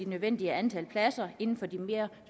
nødvendige antal pladser inden for de mere